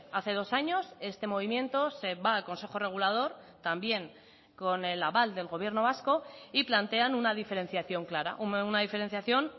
hace dos años este movimiento se va al consejo regulador también con el aval del gobierno vasco y plantean una diferenciación clara una diferenciación